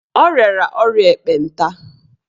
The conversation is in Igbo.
O rịara ọrịa ekpenta.